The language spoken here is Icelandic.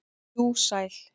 jú, sæl.